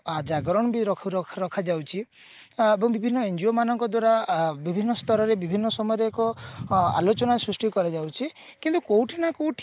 ଜାଗରଣ ବି ରଖୁ ରଖା ଯାଉଛି ତ ବିଭିନ୍ନ NGO ମାନଙ୍କ ଦ୍ଵାରା ଅ ବିଭିନ୍ନ ସ୍ତରରେ ବିଭିନ୍ନ ସମୟରେ ଏକ ଅ ଆଲୋଚନା ସୃଷ୍ଟି କରାଯାଉଛି କିନ୍ତୁ କୋଉଠି ନା କୋଉଠି